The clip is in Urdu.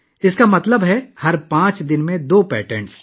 اس کا مطلب ہے ہر پانچ دن میں دو پیٹنٹ